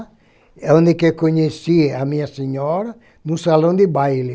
Eu conheci com a minha senhora em um salão de baile.